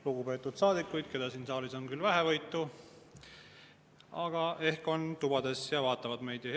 Lugupeetud saadikud, keda siin saalis on küll vähevõitu, aga ehk olete tubades ja vaatate meid!